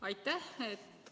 Aitäh!